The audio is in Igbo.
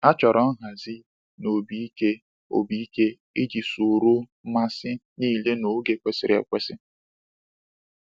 A chọrọ nhazi na obi ike obi ike iji soro mmasị niile n’oge kwesịrị ekwesị.